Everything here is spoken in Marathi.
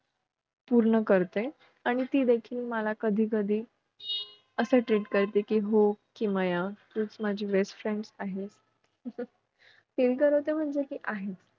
पूर्ण करते आणि ती देखील मला कधीकधी असं treat करते कि हो किमया तूच माझी best friend आहेस feel करवते म्हणजे कि आहेच